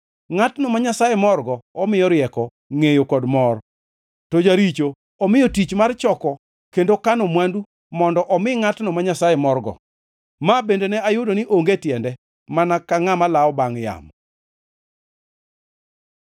Ngʼatno ma Nyasaye morgo, omiyo rieko, ngʼeyo kod mor, to jaricho omiyo tich mar choko kendo kano mwandu mondo omi ngʼatno ma Nyasaye morgo. Ma bende ne ayudo ni onge tiende, mana ka ngʼama lawo bangʼ yamo.